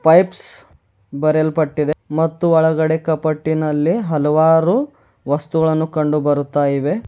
Pipes ಬರೆಯಲ್ಪಟ್ಟಿದೆ ಮತ್ತು ಒಳಗಡೆ ಕಪಾಟಿನಲ್ಲಿ ಹಲವಾರು ವಸ್ತುಗಳನ್ನು ಕಂಡು ಬರುತ್ತಾ ಇವೆ.